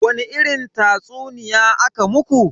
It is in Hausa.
Wani irin tatsuniya aka muku?